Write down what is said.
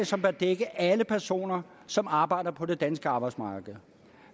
som bør dække alle personer som arbejder på det danske arbejdsmarked